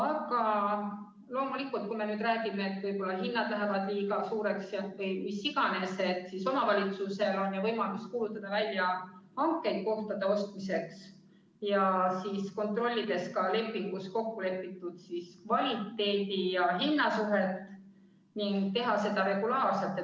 Aga loomulikult, kui me nüüd räägime sellest, et võib-olla hinnad lähevad liiga kõrgeks või mis iganes, siis omavalitsusel on ju võimalus kuulutada välja hankeid kohtade ostmiseks, kontrollida ka lepingus kokku lepitud kvaliteedi ja hinna suhet ning teha seda regulaarselt.